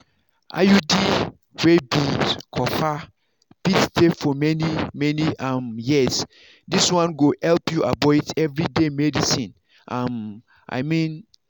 iud wey be copper fit stay for many-many um years this one go help you avoid everyday medicines um i mean.